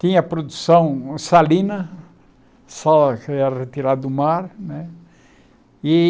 Tinha produção salina, sal que era retirado do mar né e.